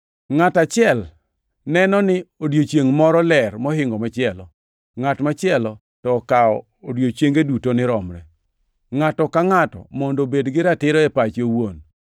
Ngʼat achiel neno ni odiechiengʼ moro ler mohingo machielo; ngʼat machielo to okaw odiechienge duto ni romre. Ngʼato ka ngʼato mondo obed gi ratiro e pache owuon.